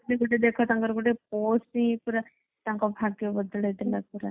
ଗୋଟେ ଦେଖ ଗୋଟେ ତାଙ୍କରpost ହିଁ ପୁରା ତାଙ୍କ ଭାଗ୍ୟ ବଦଳେଇଦେଲା ପୁରା।